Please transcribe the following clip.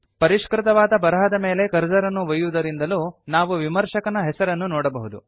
ಪರಿಷ್ಕೃತವಾದ ಬರಹದ ಮೇಲೆ ಕರ್ಸರ್ ಅನ್ನು ಒಯ್ಯುವುದರಿಂದಲೂ ನಾವು ವಿಮರ್ಶಕನ ಹೆಸರನ್ನು ನೋಡಬಹುದು